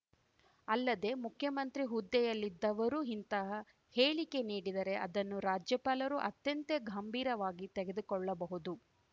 ಅಲ್ಲದೆ ಮುಖ್ಯಮಂತ್ರಿ ಹುದ್ದೆಯಲ್ಲಿದ್ದವರು ಇಂತಹ ಹೇಳಿಕೆ ನೀಡಿದರೆ ಅದನ್ನು ರಾಜ್ಯಪಾಲರು ಅತ್ಯಂತ ಗಂಭೀರವಾಗಿ ತೆಗೆದುಕೊಳ್ಳಬಹುದು